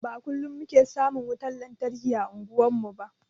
Ba kullum muke samun wutar lantarki ã unguwar mu ba.